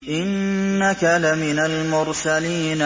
إِنَّكَ لَمِنَ الْمُرْسَلِينَ